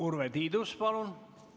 Urve Tiidus, palun!